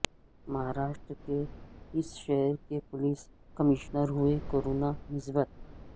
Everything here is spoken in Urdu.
مہاراشٹر کے اس شہر کے پولیس کمشنر ہوئے کورونا مثبت